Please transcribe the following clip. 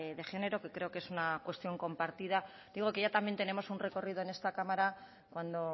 de género que creo que es una cuestión compartida digo que ya también tenemos un recorrido en esta cámara cuando